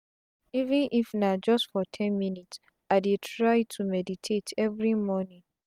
even if na just for ten minute i dey try to meditate every morning.